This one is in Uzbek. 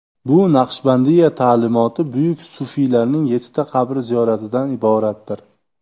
Bu Naqshbandiya ta’limoti buyuk sufiylarining yettita qabri ziyoratidan iboratdir.